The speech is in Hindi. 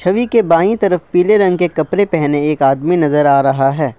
छवि के बाईं तरफ पीले रंग के कपड़े पहने एक आदमी नजर आ रहा है।